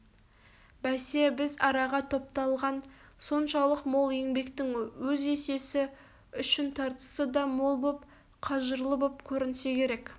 бәсе бір араға топталған соншалық мол еңбектің өз есесі үшін тартысы да мол боп қажырлы боп көрінсе керек